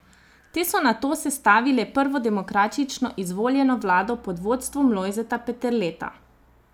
Te so nato sestavile prvo demokratično izvoljeno vlado pod vodstvom Lojzeta Peterleta.